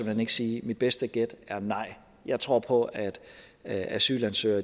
hen ikke sige mit bedste gæt er nej jeg tror på at asylansøgere